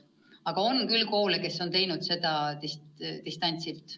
Aga on küll koole, kes on teinud seda distantsilt.